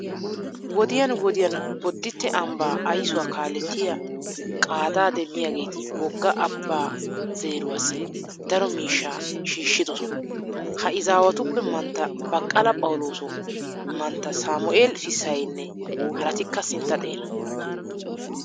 Wodiyan wodiyan bodditte ambbaa aysuwa kaalettiyo qaadaa demmidaageeti wogga abbaa zeeruwassi daro miishshaa shiishshidosona. Ha izaawatuppe mantta baqqala phawulooso, mantta saamu'eela fissaynne haratikka sintta xeera.